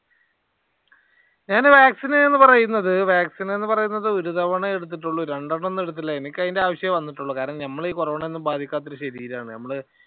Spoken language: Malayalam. ഞാന് vaccine പറയുന്നത് vaccine എന്ന് പറയുന്നത് ഒരു തവണ എടുത്തിട്ടുള്ളൂ. രണ്ടെണ്ണം ഒന്നും എടുത്തില്ല. എനിക്ക് അയിന്റെ ആവശ്യമേ വന്നിട്ടുള്ളൂ കാരണം ഞമ്മളെ ഈ കൊറോണ ഒന്നും ബാധിക്കാത്ത ഈ ശരീരമാണ്. ഞമ്മള്